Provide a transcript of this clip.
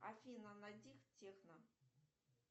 афина найди техно